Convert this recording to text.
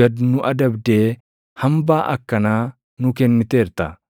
gad nu adabdee hambaa akkanaa nuu kenniteerta.